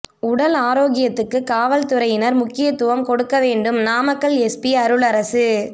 உடல் ஆரோக்கியத்துக்கு காவல் துறையினா் முக்கியத்துவம் கொடுக்க வேண்டும் நாமக்கல் எஸ்பி அருளரசு